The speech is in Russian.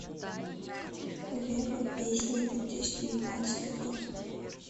рева песни две тысячи девятнадцатый год